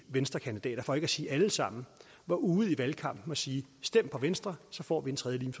venstres kandidater for ikke at sige alle sammen var ude i valgkampen at sige stem på venstre så får vi en tredje